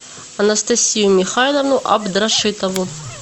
анастасию михайловну абдрашитову